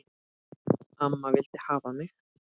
Amma vildi hafa mig.